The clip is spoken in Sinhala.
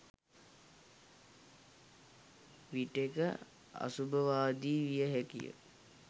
විටෙක අසුභවාදී විය හැකිය.